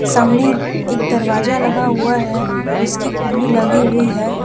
सामने एक दरवाजा लगा हुआ है जिसकी कुंडी लगी हुई है।